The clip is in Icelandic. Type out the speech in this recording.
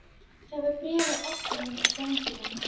Það var bréf á ofninum í ganginum.